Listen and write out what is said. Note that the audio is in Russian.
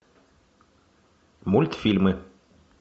мультфильмы